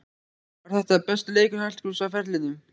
Var þetta besti leikur Hallgríms á ferlinum?